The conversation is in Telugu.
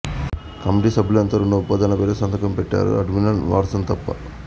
కమిటీ సభ్యులంతా రెండు ఒప్పందాలపైన సంతకం పెట్టారు అడ్మిరల్ వాట్సన్ తప్ప